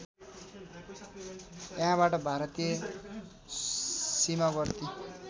यहाँबाट भारतीय सीमावर्ती